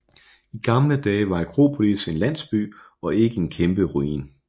I gamle dage var Akropolis en landsby og ikke en kæmpe ruin